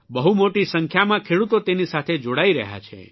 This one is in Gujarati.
બહુ મોટી સંખ્યામાં ખેડૂતો તેની સાથે જોડાઇ રહ્યા છે